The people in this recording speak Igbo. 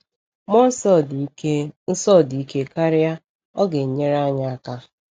Mmụọ Nsọ dị ike Nsọ dị ike karịa, ọ ga-enyere anyị aka!